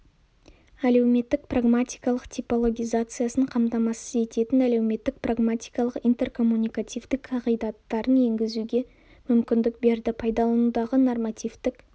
әлеуметтік-прагматикалық типологизациясын қамтамасыз ететін әлеуметтік-прагматикалық интеркоммуникативтік қағидаттарын енгізуге мүмкіндік берді пайдаланудағы нормативтік